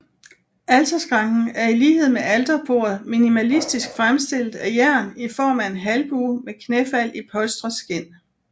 Alterskranken er i lighed med alterbordet minimalistisk fremstillet af jern i form af en halvbue med knæfald i polstret skind